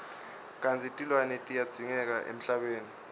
kantsi tilwane tiyadzingeka emhlabeni